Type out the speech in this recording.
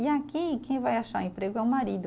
E aqui, quem vai achar emprego é o marido.